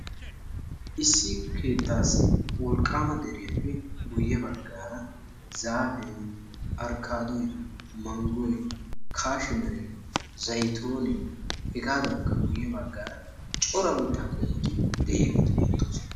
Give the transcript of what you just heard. Issi keettaassi wolqqama deriyappe guye baggaara zaafee, arkkaadoy, manggoy, kaashimere, zayttoonee hegaadankka guye baggaara cora mitta qommot de'iyageet beettoosona.